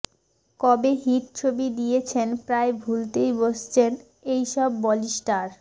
কবে হিট ছবি দিয়েছেন প্রায় ভুলতেই বসেছেন এই সব বলি স্টার